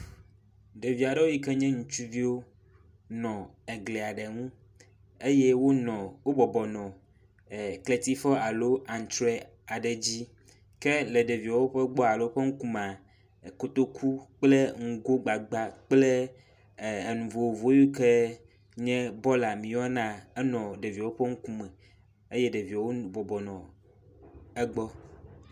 Ɖevi aɖewo yi ke nye ŋutsuviwo nɔ egli aɖe ŋu eye wonɔ wo bɔbɔnɔ kletifɔ alo antrɔe aɖe dzi. Ke le ɖeviawo ƒe gbɔa alo ƒe ŋku mea kotoku kple ŋgo gbagba kple e enu vovovowo yi ke nye bɔla mieyɔna enɔ ɖeviawo ƒe ŋkume eye ɖeviawo bɔbɔnɔ egbɔ.